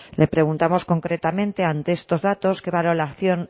le preguntamos concretamente ante estos datos qué valoración